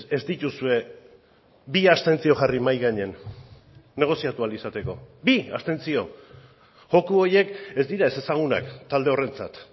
ez dituzue bi abstentzio jarri mahai gainean negoziatu ahal izateko bi abstentzio joko horiek ez dira ezezagunak talde horrentzat